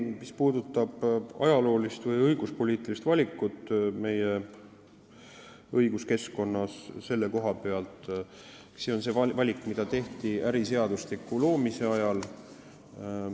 Mis puudutab ajaloolist või õiguspoliitilist valikut meie õiguskeskkonnas selle koha peal, siis see valik tehti äriseadustiku loomise ajal.